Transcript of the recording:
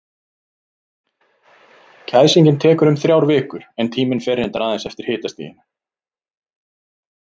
Kæsingin tekur um þrjár vikur, en tíminn fer reyndar aðeins eftir hitastiginu.